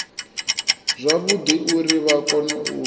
zwavhudi uri vha kone u